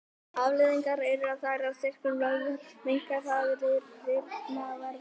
Afleiðingarnar eru þær að styrkur vöðva minnkar, þeir rýrna og verða máttlausir.